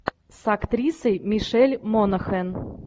с актрисой мишель монахэн